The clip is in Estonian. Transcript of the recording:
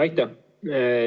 Aitäh!